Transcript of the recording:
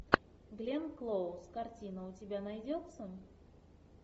гленн клоуз картина у тебя найдется